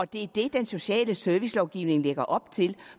det er det den sociale servicelovgivning lægger op til